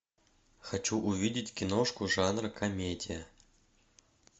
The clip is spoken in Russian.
хочу увидеть киношку жанра комедия